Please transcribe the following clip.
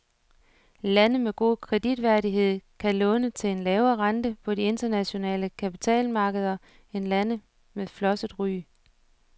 Lande med god kreditværdighed kan låne til en lavere rente på de internationale kapitalmarkeder end lande med flosset ry.